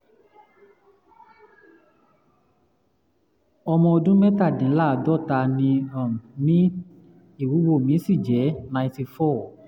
ọmọ ọdún um mẹ́tàdínláàádọ́ta ni um mí ìwúwo mí sì jẹ́ ninety four